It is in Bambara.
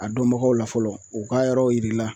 A dɔnbagaw la fɔlɔ u ka yɔrɔw yir'i la